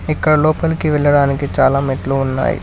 ఇక్కడ లోపలికి వెళ్లడానికి చాలా మెట్లు ఉన్నాయి.